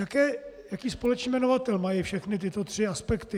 Jaký společný jmenovatel mají všechny tyto tři aspekty?